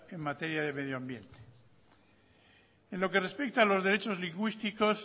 en materia de medioambiente en lo que respecta a los derechos lingüísticos